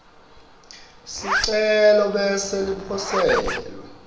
sicelo bese liposelwa